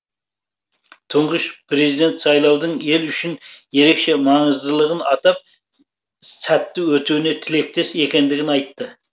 тұңғыш президент сайлаудың ел үшін ерекше маңыздылығын атап сәтті өтуіне тілектес екендігін айтты